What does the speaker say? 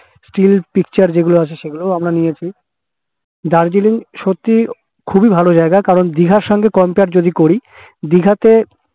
still picture যেগুলো আছে সেগুলোও আমরা নিয়েছি দার্জিলিং সত্যিই খুবই ভালো জায়গা কারণ দিঘার সঙ্গে compare যদি করি কারণ দিঘা তো